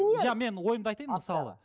иә мен ойымды айтайын мысалы